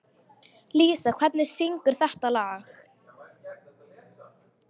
Lísa, hver syngur þetta lag?